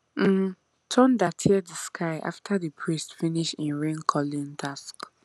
um thunder tear di sky after di priest finish him raincalling talk